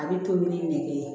A bɛ tobi ni nege ye